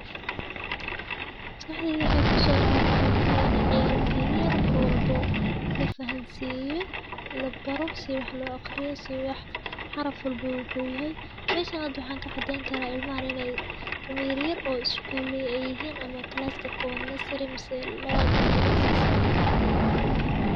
Maskahdheyd ayaa ku soo dhacay waxa ahaata in ciyaalkii yer mar walbo la fahansiiyo, la baro, si wax loo akhriyo, si wax xaraf walba wuxuu yahay. Meeshaan haad wahan ka cadeyn karo ilmo aan , ilmo yer-yer oo iskuul ayaan ay yihiin ama klaaska koowad, nursery mise lawaad ay mise sase.